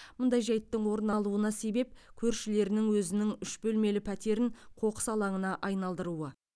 мұндай жайттың орын алуына себеп көршілерінің өзінің үш бөлмелі пәтерін қоқыс алаңына айналдыруы